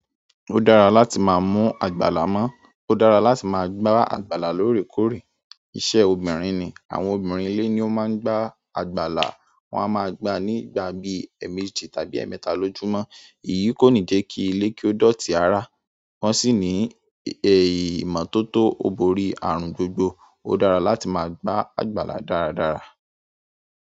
Ó dára láti máa mú àgbàlá mọ́, ó dára láti máa gbá àgbàlá lóòrèkóòrè. Iṣẹ́ obìnrin ni, àwọn obìnrin ìle ni ó máa ń gbá àgbàlá, wọn a máa gbá nígbà bíi ẹ́ẹ̀mẹ́jì tàbí ẹ́ẹ̀mẹ́ta lójúmọ́. Èyí kò ní jẹ́ kí ilé kí ó dọ̀tí rara, wọ́n sì ní ìmọ́tótó obori àrùn gbogbo. Ó dára láti máa gbá àgbàlá dáradára.